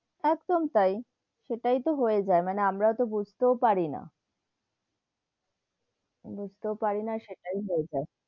একদম তাই, সেটাই তো হয়ে যাই, মানে আমরা তো বুঝতে পারি না, বুঝতেও পারি না সেটাই হয়ে যাই,